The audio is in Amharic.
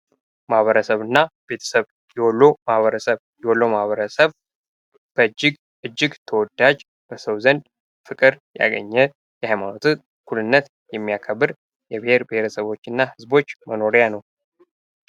ማህበረሰብና ቤተሰብ የወሎ ማህበረሰብ የወሎ ማህበረሰብ እጅግ ተወዳጅ በሰው ዘንድ ፍቅር ያገኘ ሀይማኖት እኩልነትን የሚያከብር የብሔር ብሔረሰቦችና ህዝቦች መኖርያ ነው።